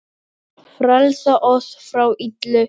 Frelsa oss frá illu!